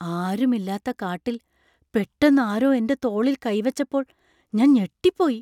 ആരും ഇല്ലാത്ത കാട്ടിൽ പെട്ടെന്ന് ആരോ എൻ്റെ തോളിൽ കൈ വെച്ചപ്പോൾ ഞാൻ ഞെട്ടിപ്പോയി.